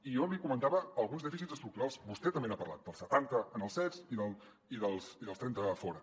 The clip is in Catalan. i jo li comentava alguns dèficits estructurals vostè també n’ha parlat del setanta en els cets i del trenta a fora